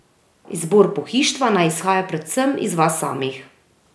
Izbor pohištva naj izhaja predvsem iz vas samih.